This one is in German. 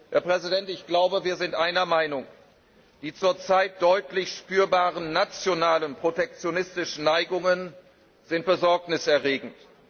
Herr Präsident, ich glaube, da wir sind einer Meinung Die zurzeit deutlich spürbaren nationalen protektionistischen Neigungen sind Besorgnis erregend.